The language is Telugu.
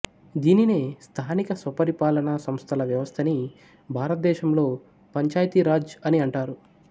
దీనినే స్థానిక స్వపరిపాలన సంస్థల వ్యవస్థని భారతదేశంలో పంచాయతీ రాజ్ అని అంటారు